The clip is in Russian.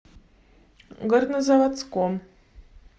горнозаводском